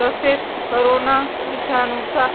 तसेच करोना विषाणुचा